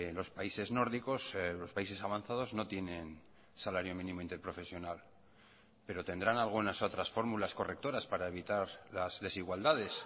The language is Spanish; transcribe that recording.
los países nórdicos los países avanzados no tienen salario mínimo interprofesional pero tendrán algunas otras fórmulas correctoras para evitar las desigualdades